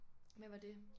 Hvad var det?